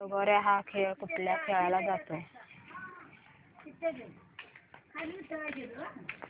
लगोर्या हा खेळ कुठे खेळला जातो